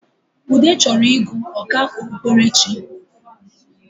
Ude chọrọ ịgụ ọkà okpukperechi